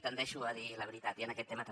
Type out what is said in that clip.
tendeixo a dir la veritat i en aquest tema també